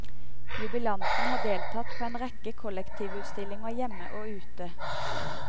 Jubilanten har deltatt på en rekke kollektivutstillinger hjemme og ute.